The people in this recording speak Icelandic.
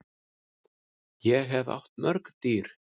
Ég hef átt mörg dýr.